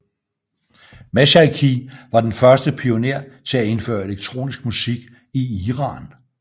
Mashayekhi var den første pioner til at indfører elektronisk musik i Iran